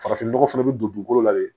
Farafinnɔgɔ fana bɛ don dugukolo la de